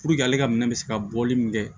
Puruke ale ka minɛ bɛ se ka bɔli min kɛ